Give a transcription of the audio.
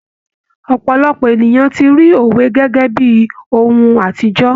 Ọpọlọpọ ènìyàn ti ri òwe gẹ́gẹ́ bíi ohun àtijọ́.